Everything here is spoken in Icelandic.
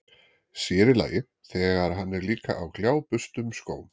Sér í lagi, þegar hann er líka á gljáburstuðum skóm.